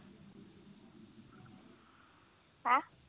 ਹੈਂ